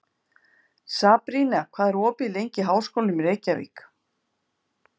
Sabrína, hvað er opið lengi í Háskólanum í Reykjavík?